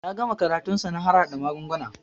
Ya gama karatun sa na harhaɗa magunguna